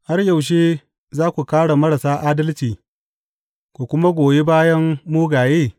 Har yaushe za ku kāre marasa adalci ku kuma goyi bayan mugaye?